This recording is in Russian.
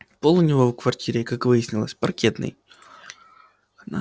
пол у него в квартире как выяснилось паркетный